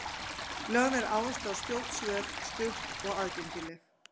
Lögð er áhersla á skjót svör, stutt og aðgengileg.